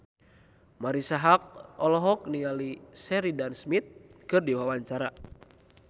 Marisa Haque olohok ningali Sheridan Smith keur diwawancara